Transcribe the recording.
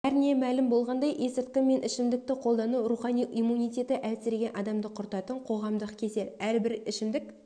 бәріне мәлім болғандай есірткі мен ішімдікті қолдану рухани иммунитеті әлсіреген адамды құртатын қоғамдық кесел әрбір ішімдік